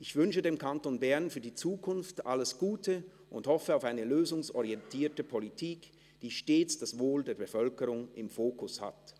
Ich wünsche dem Kanton Bern für die Zukunft alles Gute und hoffe auf eine lösungsorientierte Politik, die stets das Wohl der Bevölkerung im Fokus hat.»